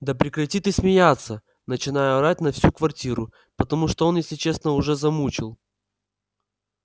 да прекрати ты смеяться начинаю орать на всю квартиру потому что он если честно уже замучил